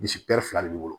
Bilisi fila de b'i bolo